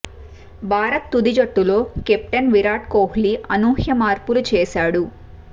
భారత్ తుది జట్టులో కెప్టెన్ విరాట్ కోహ్లీ అనూహ్య మార్పులు చేశాడు